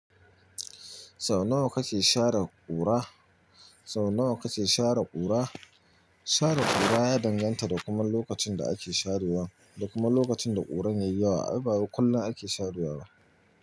Sau nawa kake shara ƙura? Sau nawa kake shara ƙura? Shara ƙura ya danganta da kuma lokacin da ake sharewa da kuma lokacin da ƙuran ya yi yawa. A'a ba wai kullum ake sharewa ba.